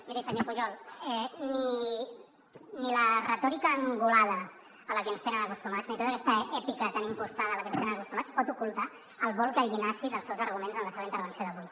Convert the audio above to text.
miri senyor pujol ni la retòrica angulada a la que ens tenen acostumats ni tota aquesta èpica tan impostada a la que ens tenen acostumats pot ocultar el vol gallinaci dels seus arguments en la seva intervenció d’avui